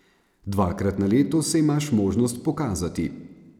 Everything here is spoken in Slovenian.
Dvakrat na leto se imaš možnost pokazati.